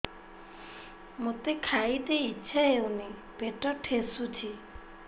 ମୋତେ ଖାଇତେ ଇଚ୍ଛା ହଉନି ପେଟ ଠେସୁଛି